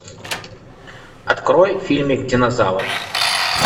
открой фильмик динозавр